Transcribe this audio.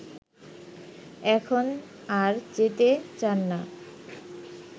এখন আর যেতে চান না